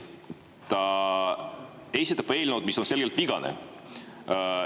Ta esitab eelnõu, mis on selgelt vigane.